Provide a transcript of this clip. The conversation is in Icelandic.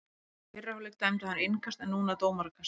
Í fyrri hálfleik dæmdi hann innkast en núna dómarakast.